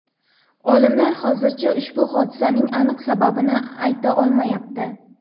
Olimlar hozircha ushbu hodisaning aniq sababini ayta olmayapti.